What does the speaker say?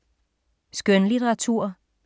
Skønlitteratur